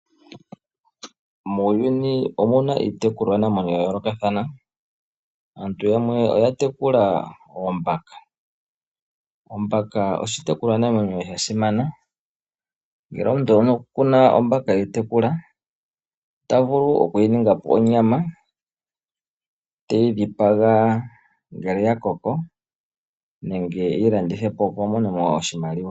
Muuyuni omuna iitekulwanamwenyo ya yoolokathana. Aantu yamwe oya tekula oombaka. Ombaka oshitekulwanamwenyo sha simana, ngele omuntu oku na ombaka eyi tekula. Ota vulu oku yi ninga po onyama, te yi dhipaga ngele oya koko nenge e yi landithe po opo a mone mo oshimaliwa.